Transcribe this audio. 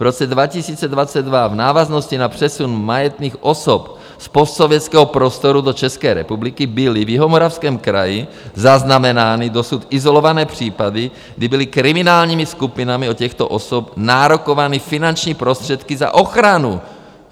V roce 2022 v návaznosti na přesun majetných osob z postsovětského prostoru do České republiky byly v Jihomoravském kraji zaznamenány dosud izolované případy, kdy byly kriminálními skupinami od těchto osob nárokovány finanční prostředky za ochranu.